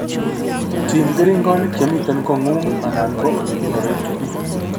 Tim keringonik chemite koing'ung' anan ko ole kikonoree tuguk